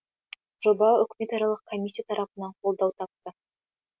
жоба үкіметаралық комиссия тарапынан қолдау тапты